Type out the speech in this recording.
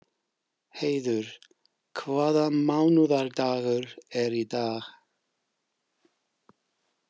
Heiður, hvaða mánaðardagur er í dag?